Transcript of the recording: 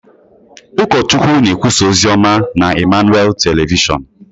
Ụkọchukwu na-ekwusa ozi ọma na Emmanuel Telịvịshon.